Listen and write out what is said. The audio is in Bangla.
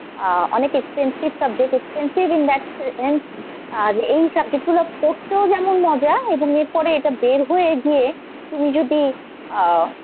আহ অনেক expensive subject expensive in that sense আর এই subject গুলো পড়তেও যেমন মজা এবং এর পড়ে এটা বের হয়ে গিয়ে তুমি যদি আহ